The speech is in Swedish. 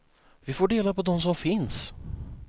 Vi får dela på dem som finns.